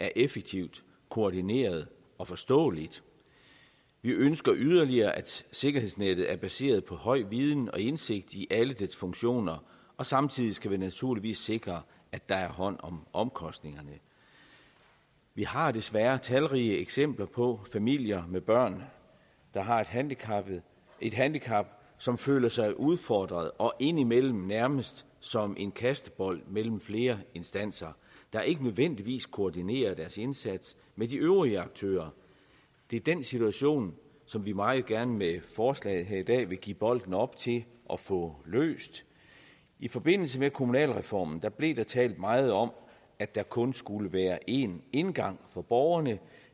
er effektivt koordineret og forståeligt vi ønsker yderligere at sikkerhedsnettet er baseret på høj viden og indsigt i alle dets funktioner og samtidig skal vi naturligvis sikre at der er hånd om omkostningerne vi har desværre talrige eksempler på familier med børn der har et handicap et handicap som føler sig udfordret og indimellem nærmest som en kastebold mellem flere instanser der ikke nødvendigvis koordinerer deres indsats med de øvrige aktører det er den situation som vi meget gerne med forslaget her i dag vil give bolden op til at få løst i forbindelse med kommunalreformen blev der talt meget om at der kun skulle være én indgang for borgerne